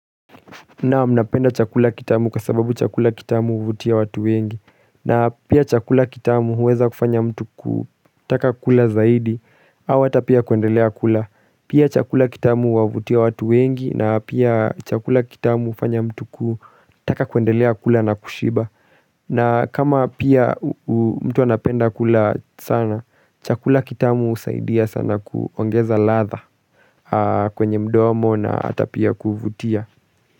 Naam, napenda chakula kitamu kwa sababu chakula kitamu huvutia watu wengi na pia chakula kitamu huweza kufanya mtu kutaka kula zaidi ama ata pia kuendelea kula Pia chakula kitamu huwavutia watu wengi na pia chakula kitamu hufanya mtu kutaka kuendelea kula na kushiba na kama pia mtu anapenda kula sana chakula kitamu husaidia sana kuongeza ladha kwenye mdomo na ata pia kuvutia.